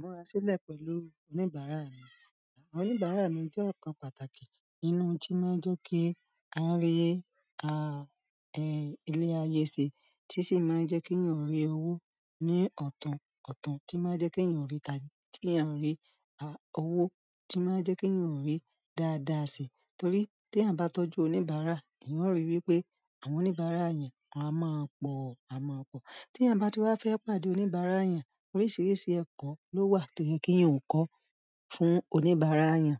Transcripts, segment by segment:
Múra sílẹ̀ pẹ̀lú oníbàárà mi. Àwọn oníbàárà mi je okan pàtàkì nínú n ti maa n je ki a ri ile aye se, ti i si maa n je ki eyan o ri owo ni ọ̀tún ọ̀tún tii maa n je ki eyan ri ta- ki eyan o ri owo tii maa n je ki eyan o ri dáadáa se torí tí eyan bá tọ́jú oníbàárà, eyàn o rí wípé àwọn oníbàárà eyan a máa pọ̀, a máa pọ̀. Ti eyan ba tun wa fe pàdé oníbàárà eyan, oríṣiríṣi eko lowa to ye ki eeyan o ko fún oníbàárà eyan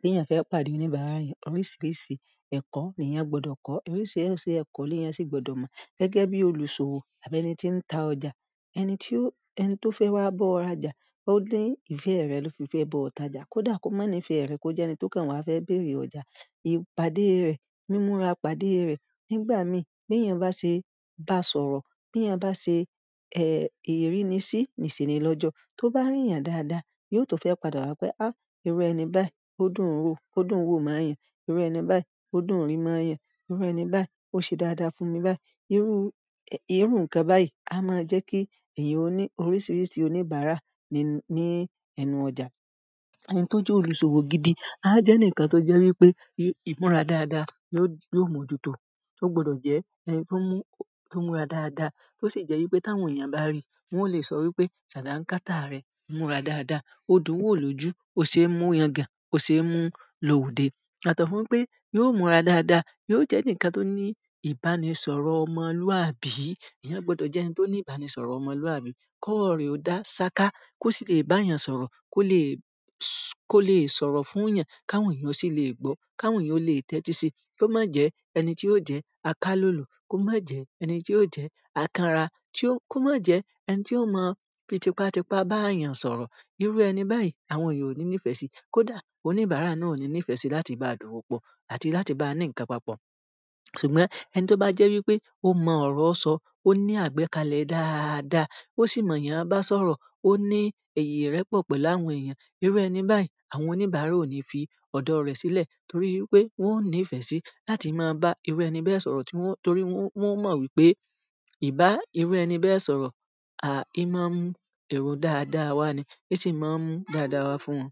bí eyàn fẹ́ pàdé oníbàárà eyan, oríṣìíríṣìí ẹ̀kọ́ níyàn gbọdọ̀ kọ́, oríṣìíríṣìí ẹ̀kọ́ níyàn sì gbọdọ̀ mọ̀. Gẹ́gẹ́ bí olùṣòwò àbí ẹni tí ń ta ọjà, ẹni tí ó, ẹni tó fẹ́ wá bọ̀ ra ọjà, ó ni ìfẹ́ rẹ̀ lo fi fẹ́ ba ọ̀ r'ọjà. Kódà kó má ní ìfẹ́ rẹ̀, kó jẹ́ ẹni tó kàn wá fẹ́ bèrè ọjà. Ìpàdé rẹ̀, mímura pàdé rẹ̀ nígbà mí, bí eyàn bá ṣe bá sọ̀rọ̀, bíyàn bá ṣe, ìrínisí nísení lọ́jọ́, tó bá ríyàn dáadáa, yóò tún fẹ́ padà wá pé, "irú ẹni báyìí, ó dùn ún wo, ó dùn ún wò móyàn. Irú ẹni báyìí, ó dùn ún rí móyàn. Irú ẹni báyìí, ó ṣe dáadáa fún mi báyìí." Irú, irú ǹkan báyìí á máa ń jẹ́ kí èèyàn ó ní oríṣìíríṣìí oníbàárà ní, ní ẹnu ọjà. Ẹni tó jẹ́ olùṣòwò gidi á jẹ́ eǹikan tó jẹ́ wípé ìmúra dáadáa ni ó, yo ó mọ̀ jù tó. Ó gbọdọ̀ jẹ́ ẹni tó mú, tó múra dáadáa, tó sì jẹ́ wípé tí àwọn èèyàn bá ríi, wọ́n o lè sọ wípé, "Ṣàdá ńkáta rẹ̀ múra dáadáa. Ó dùn ún wò lójú, ó ṣe é mú yangàn, ó ṣe é mú lò ode." Yato fún pé yóò múra dáadáa, yóò jẹ́ enikan tó ní ìbánisọ̀rọ̀ ọmọlúwàbí. Èèyàn gbọdọ̀ jẹ́ ẹni tó ní ìbánisọ̀rọ̀ ọmọlúwàbí. Kọ́rọ̀ re ò dá ṣaka, kó sì lè bá èèyàn sọ̀rọ̀, kó lè, kó lè sọ̀rọ̀ fún èèyàn káwọn èèyàn sì lè gbọ́, káwọn èèyàn lè tẹ́tí sí i. Kó má jẹ ẹni tí ó jẹ́ akálolo, kó má jẹ ẹni tí ó jẹ́ àkanra, tí ó, kó má jẹ ẹni tí ó mọ̀ fitipàtipà bá èèyàn sọ̀rọ̀. Irú ẹni báyìí àwọn èèyàn ò ní nífẹ̀ẹ́ sí i. Kódà oníbàárà náà ò ní nífẹ̀ẹ́ sí i láti bá a dowo pọ̀ àti láti bá a ní ǹkan papọ̀. Ṣùgbọ́n ẹni tó bá jẹ́ wípé ó mọ ọ̀rọ̀ sọ, ó ní àgbékalẹ̀ dáadáa, ó sì mọ̀ èèyàn bá sọ̀rọ̀, ó ní írẹpọ̀ pẹ̀lú àwọn èèyàn. Irú ẹni báyìí àwọn oníbàárà ò ní fi ọ̀dọ̀ rẹ̀ sílẹ̀ torí pé wọ́n ò ní ìfẹ́ sí i láti má bá irú ẹni bẹ́ẹ̀ sọ̀rọ̀ tí wọ́n, torí wọ́n, wọ́n o mọ̀ wípé ìbá irú ẹni bẹ́ẹ̀ sọ̀rọ̀ à í máa ń mú èrò dáadáa wá ni, í sì má ń mú dáadáa wá fún wọn.